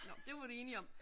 Nå det var vi da enige om